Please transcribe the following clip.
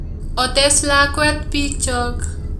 Otes lakwet bikyok